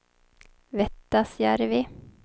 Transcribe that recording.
Vettasjärvi